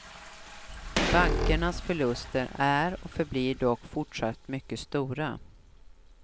Bankernas förluster är och förblir dock fortsatt mycket stora.